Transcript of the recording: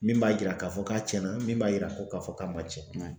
Min b'a yira k'a fɔ k'a tiɲɛna min b'a yira ko k'a fɔ k'a ma tiɲɛ